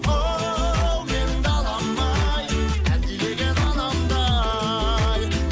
оу менің далам ай әлдилеген анамдай